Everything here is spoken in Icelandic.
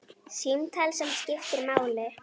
Símtal sem skiptir máli